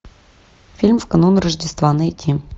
фильм в канун рождества найти